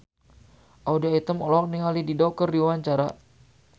Audy Item olohok ningali Dido keur diwawancara